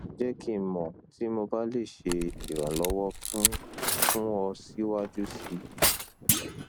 jẹ ki n mọ ti mo ba le ṣe iranlọwọ fun fun ọ siwaju sii